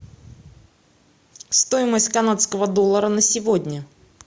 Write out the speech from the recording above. стоимость канадского доллара на сегодня